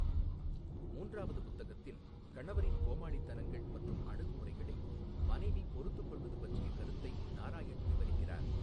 மூன்றாவது புத்தகத்தில், கணவரின் கோமாளித்தனங்கள் மற்றும் அணுகுமுறைகளை மனைவி பொறுத்துக் கொள்வது பற்றிய கருத்தை நாராயண் விவரிக்கிறார்.